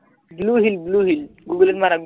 blue whale blue whale google মাৰা